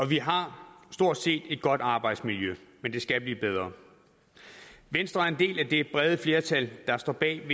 vi har stort set et godt arbejdsmiljø men det skal blive bedre venstre er en del af det brede flertal der står bag